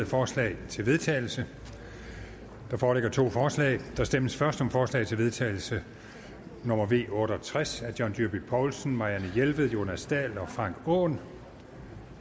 forslag til vedtagelse der foreligger to forslag der stemmes først om forslag til vedtagelse nummer v otte og tres af john dyrby paulsen marianne jelved jonas dahl og frank aaen